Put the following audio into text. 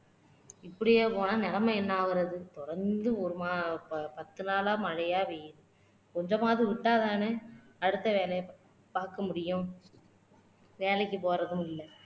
இப்படியே போனா நிலைமை என்ன ஆகுறது தொடந்து ஒரு மா ப பத்து நாளா மழையா பெய்யுது கொஞ்சமாவது விட்டா தானே அடுத்த வேலையை பாக்க முடியும் வேலைக்கு போறதும் இல்ல